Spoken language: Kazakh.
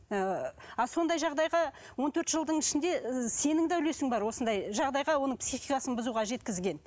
ы а сондай жағдайға он төрт жылдың ішінде сенің де үлесің бар осындай жағдайға оның психикасын бұзуға жеткізген